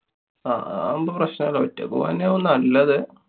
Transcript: അഹ് അതാവുമ്പോ പ്രശ്നല്ലാ. ഒറ്റയ്ക്ക് പോവന്നാവും നല്ലത്.